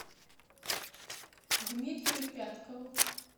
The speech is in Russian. дмитрию пяткову